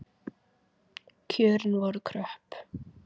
Kjörin voru kröpp.